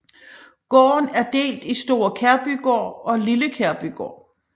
Gården er delt i Store Kærbygård og Lille Kærbygård